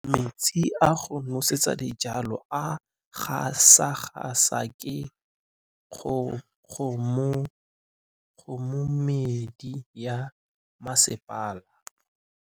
Metsi a go nosetsa dijalo a gasa gasa ke kgogomedi ya masepala.